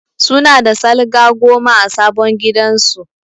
Su na da salga goma a sabon gidan su